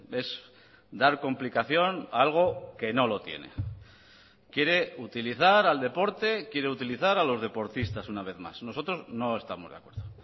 es dar complicación a algo que no lo tiene quiere utilizar al deporte quiere utilizar a los deportistas una vez más nosotros no estamos de acuerdo